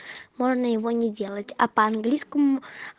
можно его не делать а по английскому